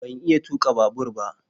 Ban iya tuka babur ba